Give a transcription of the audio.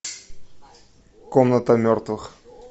комната мертвых